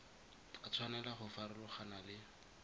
a tshwanela go farologana le